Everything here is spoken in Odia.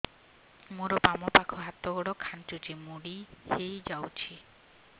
ମୋର ବାମ ପାଖ ହାତ ଗୋଡ ଖାଁଚୁଛି ମୁଡି ହେଇ ଯାଉଛି